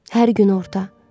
Hər gün orta.